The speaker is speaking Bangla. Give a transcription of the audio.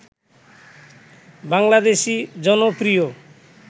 বাংলাদেশী জনপ্রিয়